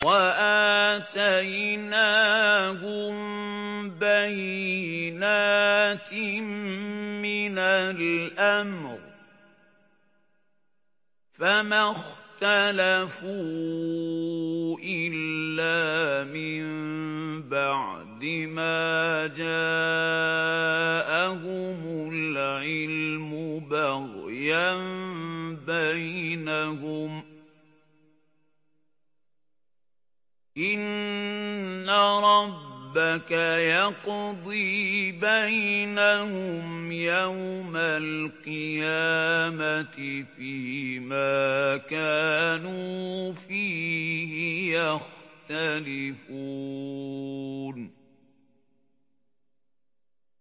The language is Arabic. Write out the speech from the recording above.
وَآتَيْنَاهُم بَيِّنَاتٍ مِّنَ الْأَمْرِ ۖ فَمَا اخْتَلَفُوا إِلَّا مِن بَعْدِ مَا جَاءَهُمُ الْعِلْمُ بَغْيًا بَيْنَهُمْ ۚ إِنَّ رَبَّكَ يَقْضِي بَيْنَهُمْ يَوْمَ الْقِيَامَةِ فِيمَا كَانُوا فِيهِ يَخْتَلِفُونَ